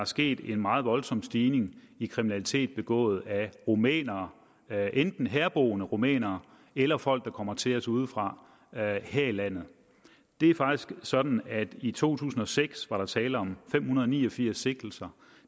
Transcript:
sket en meget voldsom stigning i kriminalitet begået af rumænere enten herboende rumænere eller folk der kommer til os udefra her her i landet det er faktisk sådan at der i to tusind og seks var tale om fem hundrede og ni og firs sigtelser